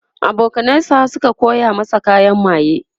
abokanan sa Suka koya masa kayan maye